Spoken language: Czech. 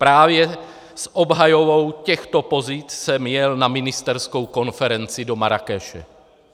Právě s obhajobou těchto pozic jsem jel na ministerskou konferenci do Marrákeše.